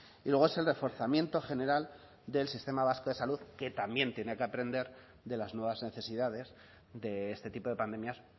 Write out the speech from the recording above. y luego es el reforzamiento general del sistema vasco de salud que también tiene que aprender de las nuevas necesidades de este tipo de pandemias